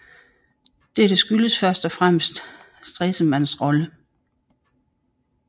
Dette skyldtes først og fremmest Stresemanns rolle